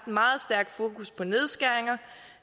meget stærkt fokus på nedskæringer